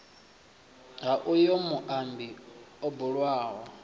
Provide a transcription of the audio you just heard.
ha uyo muambi o bulwaho